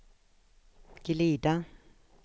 glida